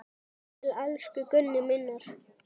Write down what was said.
Til elsku Gunnu minnar.